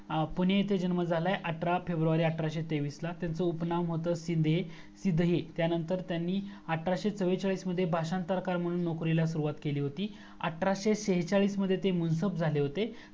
पुणे येथे जन्म झालाय अठरा फेब्रुवारी अठराशे तेवीस ला त्यांचा टोपण नाव होता सिद्धि सिद्धी त्यानंतर त्यानणी अठराशे चव्वेचाळीस मध्ये भाषांतरकार म्हणून नोकरीला सुरुवात केली होती अठराशे शेचाळीस मध्ये ते मुनसब झाले होते